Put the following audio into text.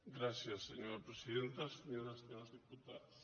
gràcies senyora presidenta senyores i senyors diputats